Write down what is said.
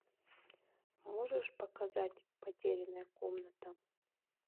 можешь показать потерянная комната